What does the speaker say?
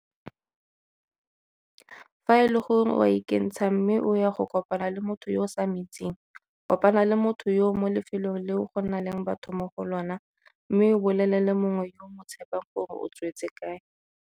Fa e le gore o a ikentsha mme o ya go kopana le motho yo o sa mo itseng, kopana le motho yoo mo lefelong leo go nang le batho mo go lona mme o bolelele mongwe yo o mo tshepang gore o tswetse kae.